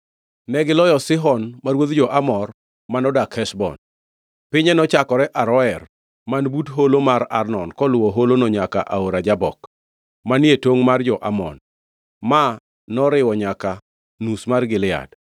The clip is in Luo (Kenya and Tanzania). Negiloyo Sihon ma ruodh jo-Amor manodak Heshbon. Pinye nochakore Aroer man but holo mar Arnon koluwo holono nyaka e Aora Jabok, manie tongʼ mar jo-Amon. Ma noriwo nyaka nus mar Gilead.